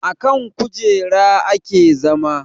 Akan kujera ake zama